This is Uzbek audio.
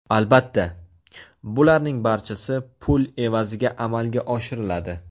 Albatta, bularning barchasi pul evaziga amalga oshiriladi.